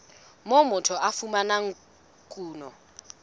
moo motho a fumanang kuno